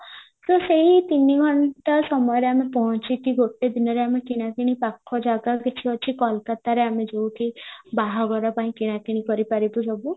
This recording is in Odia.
ତ ସେଇ ତିନି ଘଣ୍ଟା ସମୟରେ ଆମେ ପହଞ୍ଚିକି ଗୋଟେ ଦିନରେ ଆମେ କିଣା କିଣି ପାଖ ଜାଗା କିଛି ଅଛି କୋଲକାତାରେ ଯୋଉଠି ବାହାଘର ପାଇଁ କିଣା କିଣି କରିପାରିବୁ ସବୁ